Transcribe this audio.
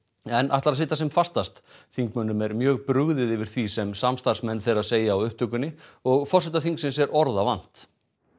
en ætlar að sitja sem fastast þingmönnum er mjög brugðið yfir því sem samstarfsmenn þeirra segja á upptökunni og forseta þingsins er orða vant